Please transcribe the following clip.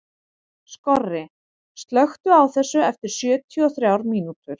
Skorri, slökktu á þessu eftir sjötíu og þrjár mínútur.